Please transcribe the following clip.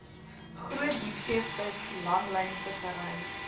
groot diepseevis langlynvissery